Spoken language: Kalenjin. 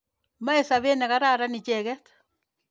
Mache sopet ne kararan icheket.